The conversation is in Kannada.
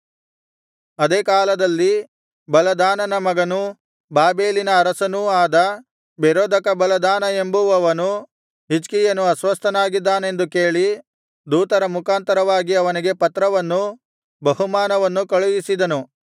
ಅದೇ ಕಾಲದಲ್ಲಿ ಬಲದಾನನ ಮಗನೂ ಬಾಬೆಲಿನ ಅರಸನೂ ಆದ ಬೆರೋದಕಬಲದಾನ ಎಂಬುವವನು ಹಿಜ್ಕೀಯನು ಅಸ್ವಸ್ಥನಾಗಿದ್ದಾನೆಂದು ಕೇಳಿ ದೂತರ ಮುಖಾಂತರವಾಗಿ ಅವನಿಗೆ ಪತ್ರವನ್ನೂ ಬಹುಮಾನವನ್ನೂ ಕಳುಹಿಸಿದನು